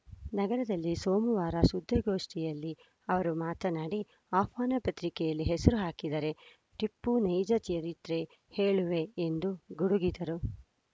ನಗರದಲ್ಲಿ ಸೋಮವಾರ ಸುದ್ದಿಗೋಷ್ಠಿಯಲ್ಲಿ ಅವರು ಮಾತನಾಡಿ ಆಹ್ವಾನ ಪತ್ರಿಕೆಯಲ್ಲಿ ಹೆಸರು ಹಾಕಿದರೆ ಟಿಪ್ಪು ನೈಜ ಚರಿತ್ರೆ ಹೇಳುವೆ ಎಂದು ಗುಡುಗಿದರು